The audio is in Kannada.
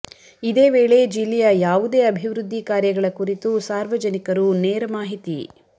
ಇದೇ ವೇಳೆ ಜಿಲ್ಲೆಯ ಯಾವುದೇ ಅಭಿವೃದ್ಧಿ ಕಾರ್ಯಗಳ ಕುರಿತು ಸಾರ್ವಜನಿಕರು ನೇರ ಮಾಹಿತಿ